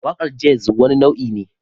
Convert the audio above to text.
Waƙar jazz wani nau'i ne